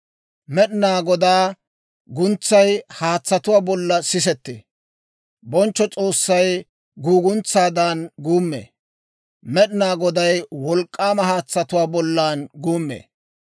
Med'inaa Godaa guntsay haatsatuwaa bollan sisettee. Bonchcho S'oossay guuguntsaadan guummee; Med'inaa Goday wolk'k'aama haatsatuwaa bollan guummee.